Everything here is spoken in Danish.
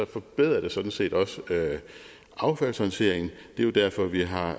forbedrer det sådan set også affaldshåndteringen det er jo derfor vi har